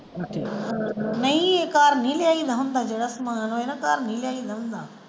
ਨਹੀਂ ਘਰ ਨਹੀਂ ਲਿਆਇਦਾ ਹੁੰਦਾ ਜਿਹੜਾ ਸਮਾਨ ਹੋਏ ਨਾ ਘਰ ਨਹੀਂ ਲਿਆਇਦਾ ਹੁੰਦਾ।